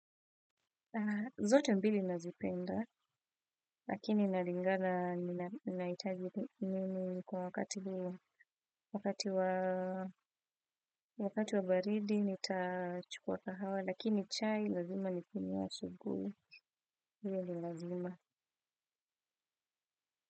Zote mbili nazipenda, lakini naringana, nina itaji nini kwa wakati wabaridi, nitachukua kahawa, lakini chai, lazima nikunywe asubui, hiyo ni lazima.